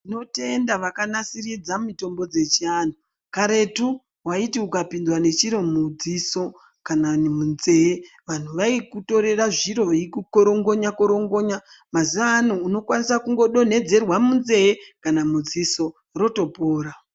Tinotenda vakanasiridza mitombo dzechivantu karetu vaiti ukapindwa nechiro mudziso kana munzee. Vantu vaikutorera zviro vaikukorongonya-korongonya, mazuva ano unokwanisa kungo donhedzerwa munzee kana mudziso votopora.